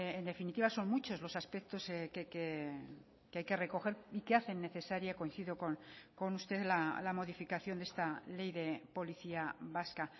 en definitiva son muchos los aspectos que hay que recoger y que hacen necesaria coincido con usted la modificación de esta ley de policía vasca